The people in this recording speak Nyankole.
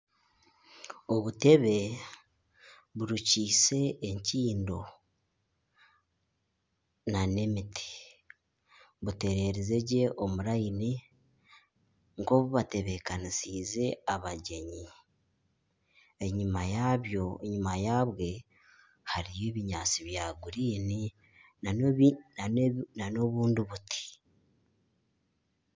Obutebe burukiise enkindo n'emiti. Butererize gye omu rayini nk'obu batebeekanisiize abagyenyi. Enyima yaabyo enyima yabwe hariyo ebinyaatsi bya kinyaatsi. N'ebi n'obu n'obundi buti.